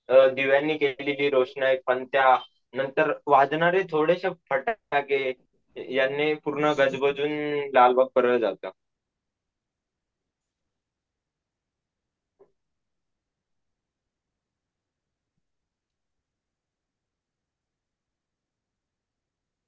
दिव्यांनी केलेली रोषणाई पणत्या नंतर वाजणारे थोडेशे फटाके यांनी पुर्नगजबजुन लालबाग परळ जात.